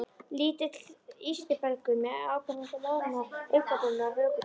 Lítill ístrubelgur með áberandi loðnar augnabrúnir og hökutopp.